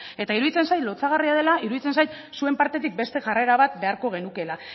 eta iruditzen zait lotsagarria dela iruditzen zait zuen partetik beste jarrera bat beharko genukeela